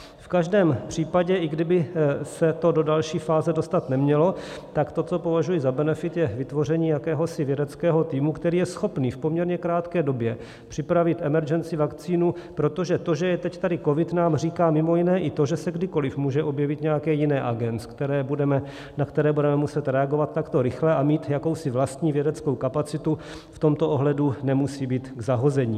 V každém případě, i kdyby se to do další fáze dostat nemělo, tak to, co považuji za benefit, je vytvoření jakéhosi vědeckého týmu, který je schopen v poměrně krátké době připravit emergency vaccine, protože to, že je teď tady covid, nám říká mimo jiné i to, že se kdykoliv může objevit nějaké jiné agens, na které budeme muset reagovat takto rychle, a mít jakousi vlastní vědeckou kapacitu v tomto ohledu nemusí být k zahození.